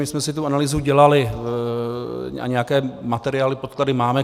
My jsme si tu analýzu dělali a nějaké materiály, podklady máme.